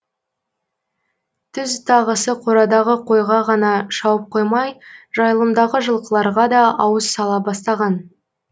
түз тағысы қорадағы қойға ғана шауып қоймай жайылымдағы жылқыларға да ауыз сала бастаған